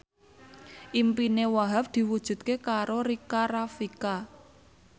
impine Wahhab diwujudke karo Rika Rafika